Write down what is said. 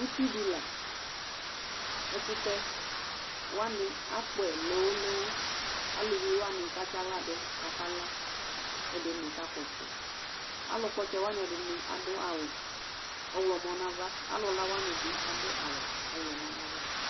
Utidi laɛ ɛkʋtɛ wani akpɔɛ lowo lowo, alʋviwani katsi aɣladʋ kʋ akaka, kʋ ɛdini kakpɔ ɔtsɛ Alʋkpɔ ɔtsɛwani ɛdini adʋ awʋ ɔwlɔmɔ nʋ ava alʋla wanibi adʋ awʋ ɔwlɔmɔ nʋ ava